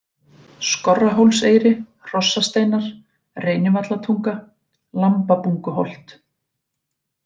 Skorrahólseyri, Hrossasteinar, Reynivallatunga, Lambabunguholt